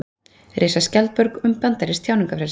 Reisa skjaldborg um bandarískt tjáningarfrelsi